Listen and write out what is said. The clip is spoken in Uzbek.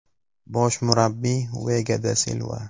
Bosh murabbiy: Vega da Silva.